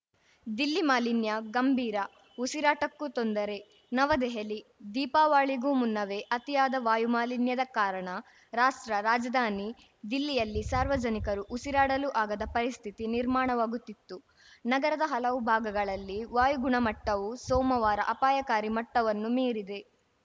ದಿಲ್ಲಿ ಮಾಲಿನ್ಯ ಗಂಭೀರ ಉಸಿರಾಟಕ್ಕೂ ತೊಂದರೆ ನವದೆಹಲಿ ದೀಪಾವಳಿಗೂ ಮುನ್ನವೇ ಅತಿಯಾದ ವಾಯುಮಾಲಿನ್ಯದ ಕಾರಣ ರಾಷ್ಟ್ರ ರಾಜಧಾನಿ ದಿಲ್ಲಿಯಲ್ಲಿ ಸಾರ್ವಜನಿಕರು ಉಸಿರಾಡಲೂ ಆಗದ ಪರಿಸ್ಥಿತಿ ನಿರ್ಮಾಣವಾಗುತ್ತಿತ್ತು ನಗರದ ಹಲವು ಭಾಗಗಳಲ್ಲಿ ವಾಯುಗುಣಮಟ್ಟವು ಸೋಮವಾರ ಅಪಾಯಕಾರಿ ಮಟ್ಟವನ್ನು ಮೀರಿದೆ